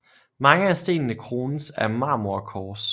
Mange af stenene krones af marmorkors